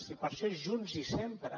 i per això junts i sempre